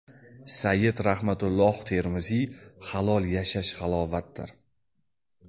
Sayyid Rahmatulloh Termiziy: Halol yashash halovatdir.